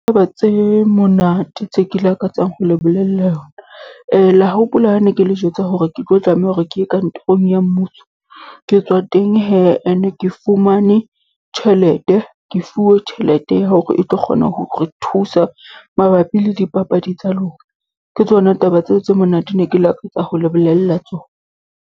Taba tse monate tse ke lakatsang ho le bolella yona. La ho hopola ha ne ke le jwetsa hore ke tlo tlameha hore ke ye kantorong ya mmuso? Ke tswa teng hee, ene ke fumane tjhelete. Ke fuwe tjhelete ya hore e tlo kgona ho re thusa mabapi le dipapadi tsa lona. Ke tsona taba tseo tse monate ne ke lakatsa ho le bolella tsona.